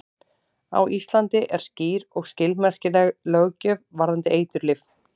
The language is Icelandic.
Á Íslandi er skýr og skilmerkileg löggjöf varðandi eiturlyf.